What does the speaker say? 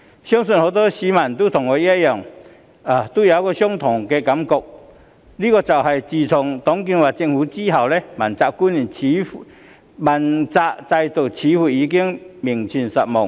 相信很多市民和我一樣有一種感覺，就是自董建華政府後，主要官員問責制似乎已名存實亡。